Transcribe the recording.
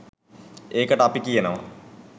ඒකට අපි කියනවා.